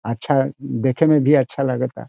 अच्छा देखे में भी अच्छा लागता।